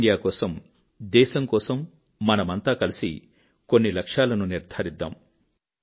fit India కోసం దేశం కోసం మనమంతా కలిసి కొన్ని లక్ష్యాలను నిర్ధారిద్దాము